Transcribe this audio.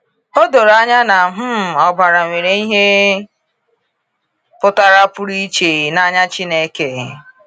O doro anya na um ọbara nwere ihe pụtara pụrụ iche n’anya Chineke.